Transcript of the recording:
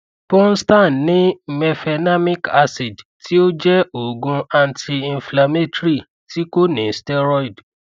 ponstan ní mefenamic acid tí ó jẹ òògùn antiinflammatory tí kò ní steroid